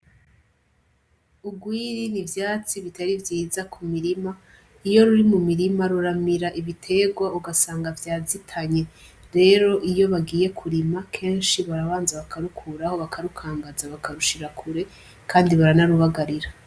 Urwiri ni ivyatsi bitari vyiza ku mirima. Iyo ruri mu mirima, ruramira ibiterwa, ugasanga vyazitanye. Rero iyo bagiye kurima, kenshi barabanza bakarukuraho bakarukangaza, bakarushira kure, kandi baranarubagarira.